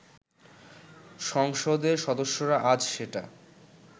সংসদের সদস্যরা আজ সেটা